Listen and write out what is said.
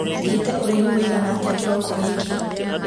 thiĩte ũraihu ũigana atĩa kĩroko gĩkĩ